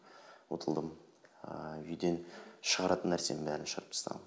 ұтылдым ыыы үйден шығаратын нәрсенің бәрін шығарып тастағанмын